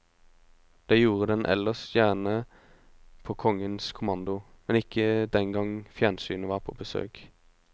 Det gjorde den ellers gjerne på kongens kommando, men ikke den gang fjernsynet var på besøk.